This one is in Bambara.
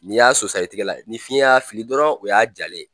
N'i y'a sosa i tigɛ la ni fiɲɛ y'a fili dɔrɔn o y'a jalen ye